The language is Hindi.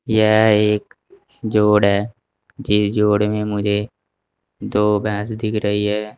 यह एक जोड़ है जिसे जोड़ में मुझे दो भैंस दिख रही है।